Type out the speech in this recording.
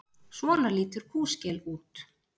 Svona lítur kúskel út.